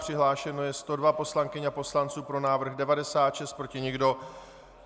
Přihlášeno je 102 poslankyň a poslanců, pro návrh 96, proti nikdo.